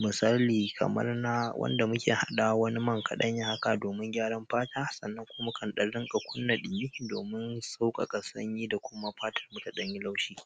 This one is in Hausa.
Misali kamar na wanda muke hadawa wani man kaɗanya haka domin gyaran fata sannan kuma muka dan riƙa kunna ɗumi domin sauƙaƙa sanyi da kuma fatar mu tadanyi laushi.